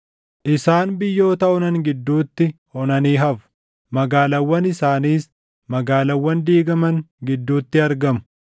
Isaan biyyoota onan gidduutti, onanii hafu; magaalaawwan isaaniis magaalaawwan diigaman gidduutti argamu.